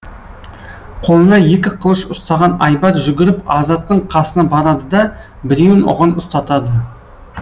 қолына екі қылыш ұстаған айбар жүгіріп азаттың қасына барады да біреуін оған ұстатады